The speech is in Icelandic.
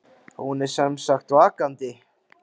Hún er sem sagt vakandi.